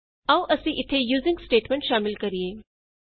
ਆਉ ਅਸੀਂ ਇਥੇ ਯੂਜ਼ੀਂਗ ਸਟੇਟਮੈਂਟ ਸ਼ਾਮਿਲ ਕਰੀਏ